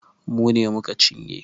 Mu ne mu ka cinye.